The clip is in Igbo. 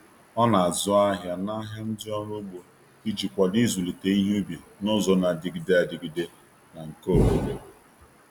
O na-azụ ahịa n’ahịa ndị ọrụ ugbo iji kwado ịzụlite ihe ubi n’ụzọ na-adịgide adịgide na nke obodo.